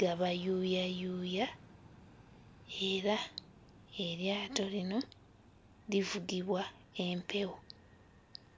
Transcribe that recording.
gabayuuyayuuya era eryato lino livugibwa empewo.